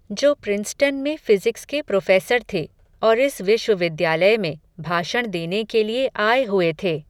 जो प्रिंसटन में फ़िज़िक्स के प्रोफ़ेसर थे, और इस विश्वविद्यालय में, भाषण देने के लिए आये हुए थे